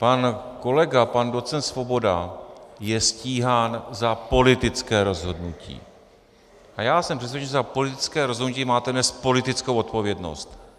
Pan kolega, pan docent Svoboda, je stíhán za politické rozhodnutí a já jsem přesvědčen, že za politické rozhodnutí máte nést politickou odpovědnost.